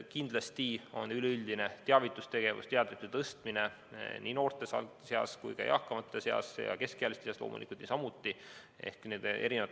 Kindlasti on oluline üleüldine teavitustegevus, teadlikkuse tõstmine nii noorte, eakamate kui ka keskealiste seas.